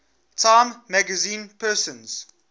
time magazine persons